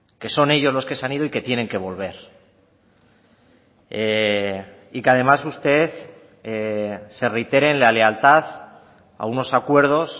que son ellos los que se han ido y que tienen que volver y que además usted se reitere en la lealtad a unos acuerdos